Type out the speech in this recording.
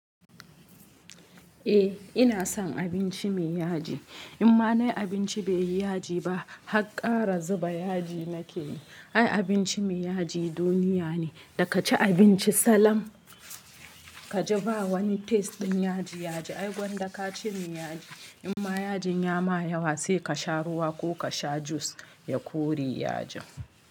Eh ina son abinci mai yaji. In ma nayi abinci baiyi yaji ba, hakar zuba yaji nake yi. Ai abinci mai yaji duniya ne. Da kaci abinci salam ka ji ba wani taste ɗin yaji yaji. Ai gwanda ka ci mai yaji. In ma yajin ya ma yawa sai ka sha ruwa ko ka sha juice ya kore yajin.